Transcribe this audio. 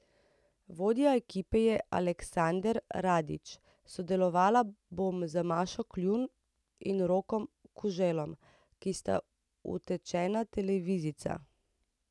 Vodja ekipe je Aleksander Radić, sodelovala bom z Mašo Kljun in Rokom Kuželom, ki sta utečena televizijca.